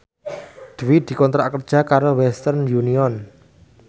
Dwi dikontrak kerja karo Western Union